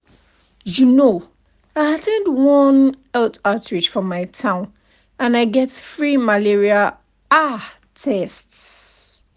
you know i at ten d one health outreach for my town and i get free malaria ah tests.